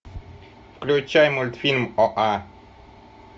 включай мультфильм оа